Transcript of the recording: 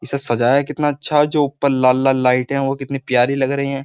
इसे सजाया कितना अच्छा जो ऊपर लाल लाल लाइट है वो कितनी प्यारी लग रही है।